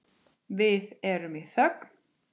Við erum í þögn.